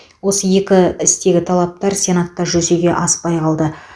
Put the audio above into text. осы екі істегі талаптар сенатта жүзеге аспай қалды